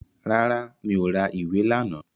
Rárá, mi ò ra ìwé lánàá